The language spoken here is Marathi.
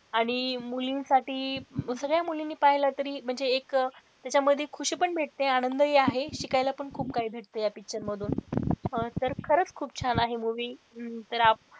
आणि मुलींसाठी सगळ्या मुलींनी पाहिलं तरी एक त्याच्या मध्ये ख़ुशी पण भेटते आनंद हि आहे शिकायला हि खूप काही भेटत या picture मधून हा तर खरंच खूप छान आहे movie तर,